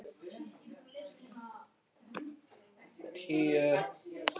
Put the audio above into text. Kristján Már: Gæti eldgos truflað vinnu hér?